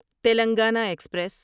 Telangana express